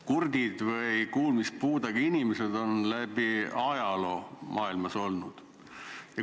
Kurdid või kuulmispuudega inimesed on läbi ajaloo maailmas olnud.